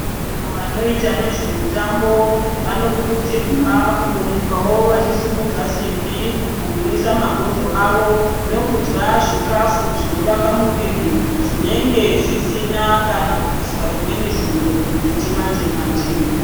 Vantu vanoita ngezvemutambo vanokurudzirwa kumbomukawo vachisimudza simbi kugwinyisa mabhonzo avo nokudya zvikafu zvonovaka muviri zvinenge zvisina kuiswa kana zvimweni zviro zvechimanje manje.